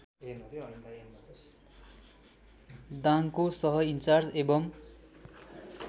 दाङको सहइन्चार्ज एवं